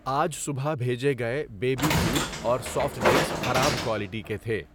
آج صبح بھیجے گئے بیبی فوڈ اور سافٹ ڈرنکس خراب کوالٹی کے تھے۔